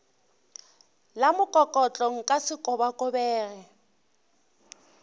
la mokokotlo nka se kobakobege